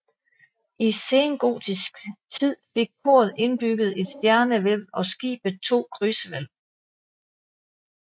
I sengotisk tid fik koret indbygget et stjernehvælv og skibet to krydshvælv